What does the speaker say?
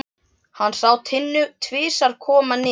Hann sá Tinnu tvisvar koma niður.